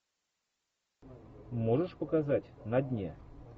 можешь показать на дне